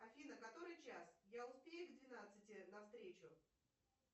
афина который час я успею к двенадцати на встречу